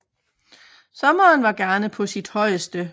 Sommeren var gerne på sit højeste